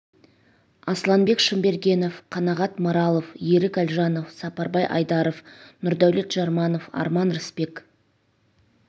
асланбек шымбергенов қанағат маралов ерік әлжанов сапарбай айдаров нұрдәулет жарманов арман рысбек